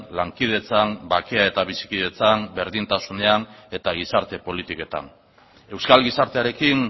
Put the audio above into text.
lankidetzan bakea eta bizikidetzan berdintasunean eta gizarte politiketan euskal gizartearekin